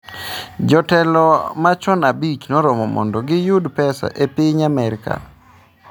Jotelo machon 5 noromo mondo giyud pesa e piny Amerka